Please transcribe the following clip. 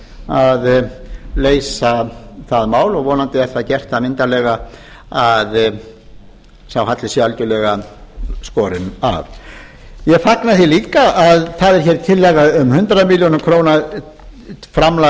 að leysa það mál og vonandi er það gert það myndarlega að sá halli sé algjörlega skorinn af ég fagna því líka að það er hér tillaga um hundrað milljónir króna framan